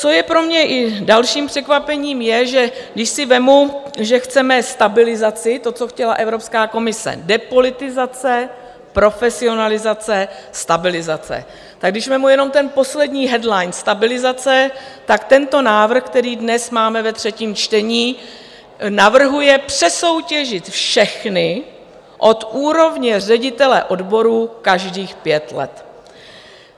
Co je pro mě i dalším překvapením, je, že když si vezmu, že chceme stabilizaci, to, co chtěla Evropská komise - depolitizace, profesionalizace, stabilizace - tak když vezmu jenom ten poslední headline, stabilizace, tak tento návrh, který dnes máme ve třetím čtení, navrhuje přesoutěžit všechny od úrovně ředitele odborů každých pět let.